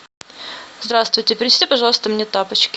здравствуйте принесите пожалуйста мне тапочки